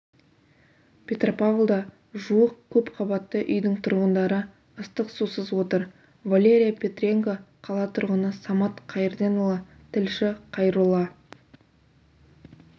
петропавлда жуық көпқабатты үйдің тұрғындары ыстық сусыз отыр валерия петренко қала тұрғыны самат қайырденұлы тілші қайролла